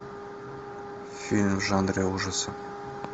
фильм в жанре ужасы